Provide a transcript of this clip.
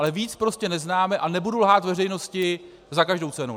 Ale víc prostě neznáme a nebudu lhát veřejnosti za každou cenu.